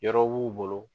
Yɔrɔ b'u bolo